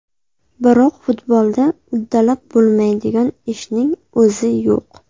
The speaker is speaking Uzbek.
Biroq futbolda uddalab bo‘lmaydigan ishning o‘zi yo‘q.